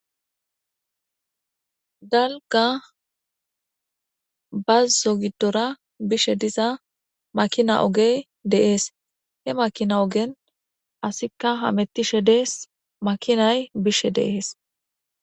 Daliga bazo gidora bishe diza makina ogey dees he makina ogen asika hamutishe dees makinay bishe dees